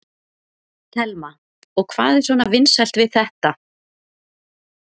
Telma: Og hvað er svona vinsælt við þetta?